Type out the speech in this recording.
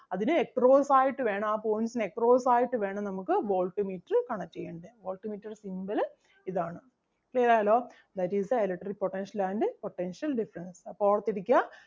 അതിന് across ആയിട്ട് വേണം ആ points ന് across ആയിട്ട് വേണം നമുക്ക് voltmeter connect ചെയ്യാൻ. Voltmeter ൻ്റെ symbol അഹ് ഇതാണ്. Clear ആയല്ലോ. That is the electric potential and potential difference. അപ്പം ഓർത്ത് ഇരിക്കുക.